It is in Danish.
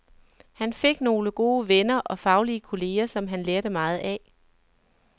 Han fik nogle gode venner og faglige kolleger, som han lærte meget af.